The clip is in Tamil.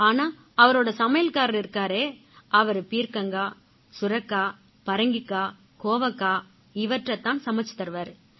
ஆனா அவரோட சமையல்காரரு இருக்காரே அவரு பீர்க்கங்காய் சுரைக்காய் பரங்கிக்காய் கோவைக்காய் இவற்றைத் தான் சமைச்சுத் தருவாரு